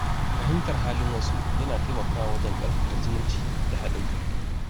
Fahimtar halin wasu yana taimakawa wajen ƙarfafa zumunci da haɗin kai.